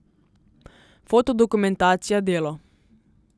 Fotodokumentacija delo.